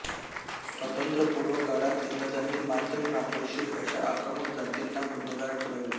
स्वातंत्र्यपूर्व काळात इंग्रजांनी मातंग रामोशी अशा आक्रमक जातींना गुन्हेगार ठरवले